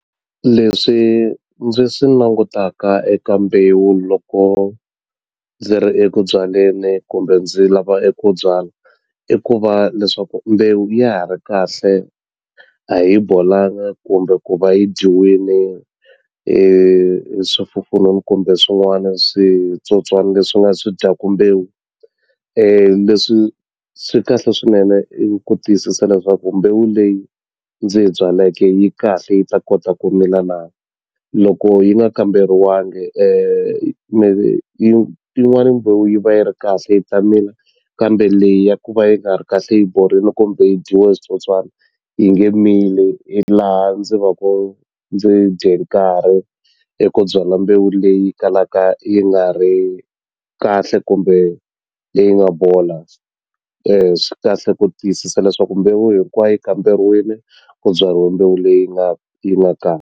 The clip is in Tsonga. Leswi ndzi swi langutaka eka mbewu loko ndzi ri eku byaleni kumbe ndzi lava eku byala i ku va leswaku mbewu ya ha ri kahle a yi bolanga kumbe ku va yi dyiwile hi swifufununu kumbe swin'wana switsotswana leswi nga swi dyaku mbewu leswi swi kahle swinene i ku tiyisisa leswaku mbewu leyi ndzi yi byaleke yi kahle yi ta kota ku mila na loko yi nga kamberiwangi yi yin'wani mbewu yi va yi ri kahle yi ta mila kambe leyi ya ku va yi nga ri kahle yi borile kumbe yi dyiwe hi switsotswani yi nge mili ndzi va ku ndzi dye nkarhi eku byala mbewu leyi kalaka yi nga ri kahle kumbe leyi nga bola swi kahle ku tiyisisa leswaku mbewu hinkwayo yi kamberiwini ku byariwe mbewu leyi nga yi nga .